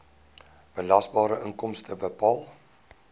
belasbare inkomste bepaal